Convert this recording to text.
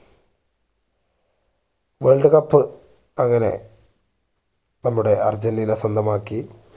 world cup അങ്ങനെ നമ്മുടെ Argentina സ്വന്തമാക്കി